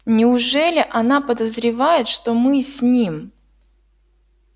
неужели она подозревает что мы с ним